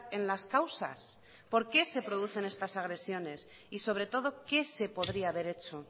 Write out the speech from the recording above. en las causas por qué se producen estas agresiones y sobre todo qué se podría haber hecho